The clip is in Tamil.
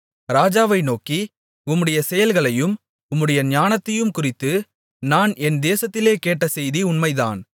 ராஜாவை நோக்கி உம்முடைய செயல்களையும் உம்முடைய ஞானத்தையும்குறித்து நான் என் தேசத்திலே கேட்ட செய்தி உண்மைதான்